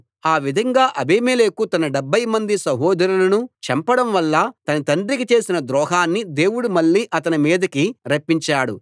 ఆ విధంగా అబీమెలెకు తన డెబ్భైమంది సహోదరులను చంపడం వల్ల తన తండ్రికి చేసిన ద్రోహాన్ని దేవుడు మళ్ళీ అతని మీదకి రప్పించాడు